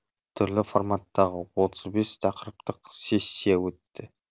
түрлі форматтағы отыз бес тақырыптық сессия өтті